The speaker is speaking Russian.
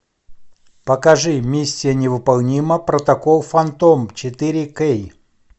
покажи миссия невыполнима протокол фантом четыре кей